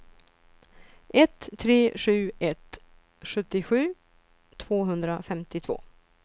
ett tre sju ett sjuttiosju tvåhundrafemtiotvå